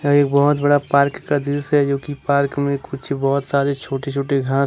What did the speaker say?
एक बहुत बड़ा पार्क का दृश्य जो की पार्क में कुछ बहुत सारे छोटे छोटे घास--